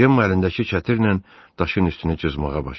Cemma əlindəki çətirlə daşın üstünü cızmağa başladı.